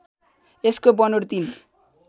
यसको बनोट ३